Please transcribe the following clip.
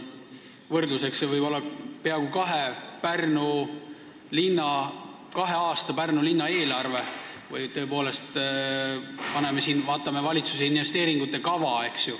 Võrdluseks võib tuua Pärnu linna peaaegu kahe aasta eelarve või vaadata valitsuse investeeringute kava.